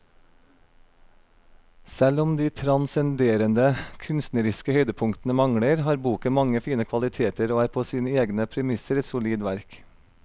Selv om de transcenderende kunstneriske høydepunktene mangler, har boken mange fine kvaliteter og er på sine egne premisser et solid verk.